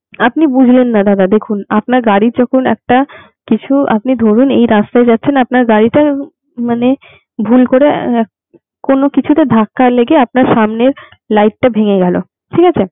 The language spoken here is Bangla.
আপনি বুঝলেন না দাদা দেখুন আপনার গাড়ি যখন একটা কিছু আপনি ধরুন এই রাস্তায় যাচ্ছেন আপনার গাড়িটা মানে ভুল করে এ এ কোনো কিছুতে ধাক্কা লেগে আপনার সামনের light টা ভেঙে গেল ঠিক আছে?